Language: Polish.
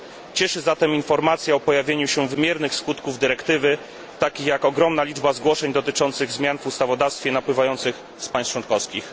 Cieszy zatem informacja o pojawieniu się wymiernych skutków dyrektywy, takich jak ogromna liczba zgłoszeń dotyczących zmian w ustawodawstwie napływających z państw członkowskich.